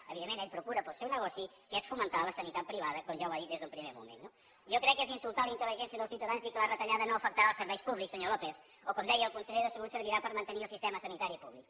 evidentment ell procura pel seu negoci que és fomentar la sanitat privada com ja ha dit des d’un primer moment no jo crec que és insultar la intel·ligència dels ciutadans dir que la retallada no afectarà els serveis públics senyor lópez o com deia el conseller de salut servirà per mantenir el sistema sanitari públic